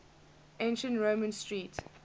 ancient roman street